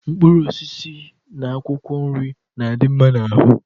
Mkpụrụ osisi na akwụkwọ nri na-adị mma n'ahụ